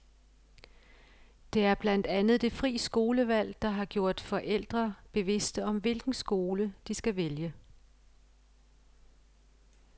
Det er blandt andet det fri skolevalg, der har gjort forældre bevidste om hvilken skole, de skal vælge.